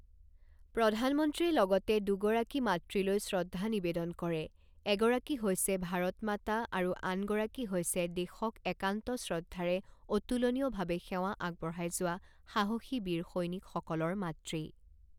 প্ৰধানমন্ত্ৰীয়ে লগতে দুগৰাকী মাতৃলৈ শ্ৰদ্ধা নিবেদন কৰে, এগৰাকী হৈছে ভাৰত মাতা আৰু আনগৰাকী হৈছে দেশক একান্ত শ্ৰদ্ধাৰে অতুলনীয়ভাৱে সেৱা আগবঢ়াই যোৱা সাহসী বীৰ সৈনিকসকলৰ মাতৃ।